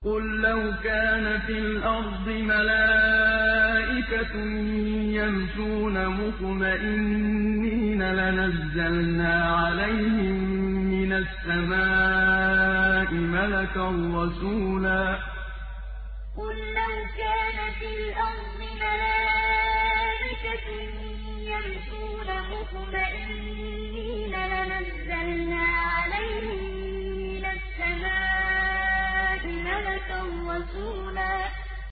قُل لَّوْ كَانَ فِي الْأَرْضِ مَلَائِكَةٌ يَمْشُونَ مُطْمَئِنِّينَ لَنَزَّلْنَا عَلَيْهِم مِّنَ السَّمَاءِ مَلَكًا رَّسُولًا قُل لَّوْ كَانَ فِي الْأَرْضِ مَلَائِكَةٌ يَمْشُونَ مُطْمَئِنِّينَ لَنَزَّلْنَا عَلَيْهِم مِّنَ السَّمَاءِ مَلَكًا رَّسُولًا